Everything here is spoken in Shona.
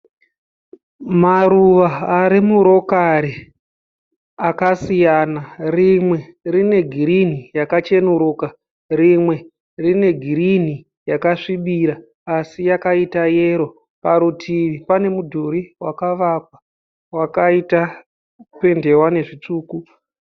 Maruva ari murokari akasiyana rimwe rine girini yakachenuruka rimwe rine girini yakasvibira asi yakaita yero parutivi pane mudhuri wakavakwa wakaita kupendewa nezvitsvuku.